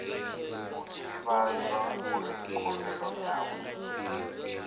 o ivhadzwa uri khumbelo yawe